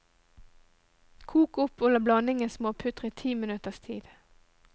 Kok opp og la blandingen småputre ti minutters tid.